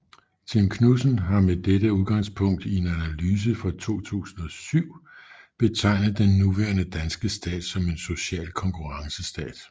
Tim Knudsen har med dette udgangspunkt i en analyse fra 2007 betegnet den nuværende danske stat som en social konkurrencestat